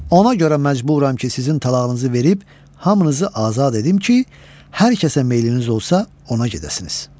Ona görə məcburam ki, sizin talağınızı verib hamınızı azad edim ki, hər kəsə meyliniz olsa, ona gedəsiniz.